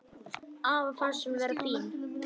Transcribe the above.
Afa fannst hún vera fín.